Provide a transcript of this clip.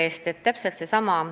Aitäh küsimuse eest!